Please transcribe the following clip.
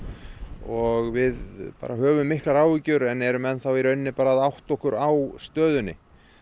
og við höfum miklar áhyggjur en erum enn þá í rauninni að átta okkur á stöðunni